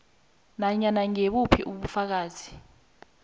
nanyana ngibuphi ubufakazi